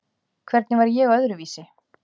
Hvernig var ég öðruvísi?